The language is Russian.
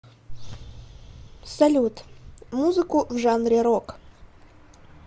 салют музыку в жанре рок